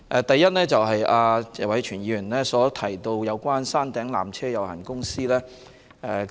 第一，謝偉銓議員提到山頂纜車有限公司。